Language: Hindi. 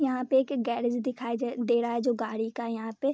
यहाँ पे एक गेरेज दिखाई ज दे रहा है जो गाड़ी का है यहाँ पे |